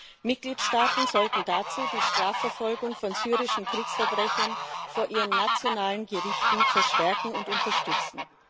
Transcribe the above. Die Mitgliedstaaten sollten dazu die Strafverfolgung von syrischen Kriegsverbrechern vor ihren nationalen Gerichten verstärken und unterstützen.